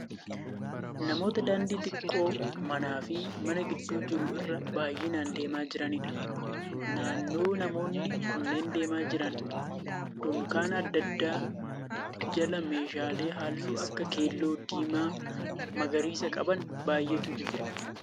Namoota daandii xiqqoo manaa fi mana gidduu jiru irra baay'inaan deemaa jiraniidha. Naannoo namoonni kunneen deemaa jiran dunkaana adda addaa jala meeshaalee halluu akka keelloo, diimaa fi magariisa qaban baay'eetu jira.